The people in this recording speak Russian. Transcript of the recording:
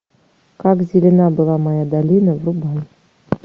как зелена была моя долина врубай